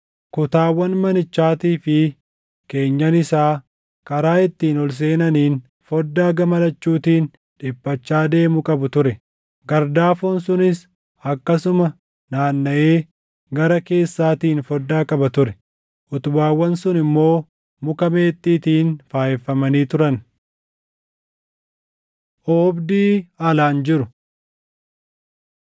Kutaawwan manichaatii fi keenyan isaa karaa ittiin ol seenaniin foddaa gama lachuutiin dhiphachaa deemu qabu ture; gardaafoon sunis akkasuma naannaʼee gara keessaatiin foddaa qaba ture; utubaawwan sun immoo muka meexxiitiin faayeffamanii turan. Oobdii Alaan Jiru